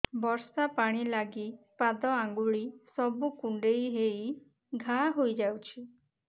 ବର୍ଷା ପାଣି ଲାଗି ପାଦ ଅଙ୍ଗୁଳି ସବୁ କୁଣ୍ଡେଇ ହେଇ ଘା ହୋଇଯାଉଛି